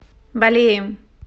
балеем